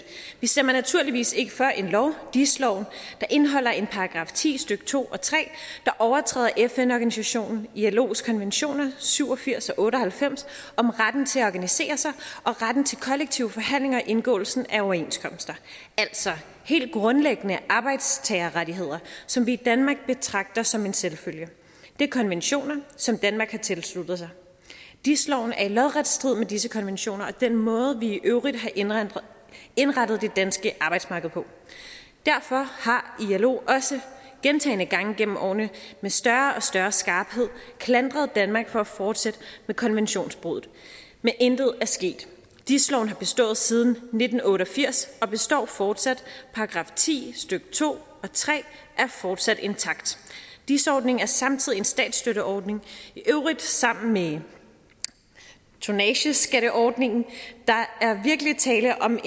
vi stemmer naturligvis ikke for en lov dis loven der indeholder en § ti stykke to og tre der overtræder fn organisationen ilos konventioner syv og firs og otte og halvfems om retten til at organiserer sig og retten til kollektive forhandlinger og indgåelsen af overenskomster altså helt grundlæggende arbejdstagerrettigheder som vi i danmark betragter som en selvfølge det er konventioner som danmark har tilsluttet sig dis loven er i lodret strid med disse konventioner og den måde vi i øvrigt har indrettet indrettet det danske arbejdsmarked på derfor har ilo også gentagne gange igennem årene med større og større skarphed klandret danmark for at fortsætte med konventionsbruddet men intet er sket dis loven har bestået siden nitten otte og firs og består fortsat § ti stykke to og tre er fortsat intakt dis ordningen er samtidig en statsstøtteordning i øvrigt sammen med tonnageskatteordningen der er virkelig tale om